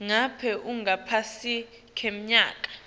ngabe ungaphasi kweminyaka